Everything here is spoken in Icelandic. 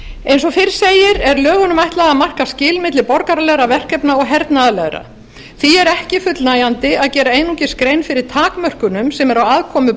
eins og fyrr segir er lögunum ætlað að marka skil milli borgaralegra verkefna og hernaðarlegra því er ekki fullnægjandi að gera einungis grein fyrir takmörkunum sem eru á aðkomu